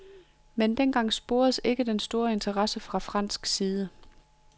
Men dengang sporedes ikke den store interesse fra fransk side.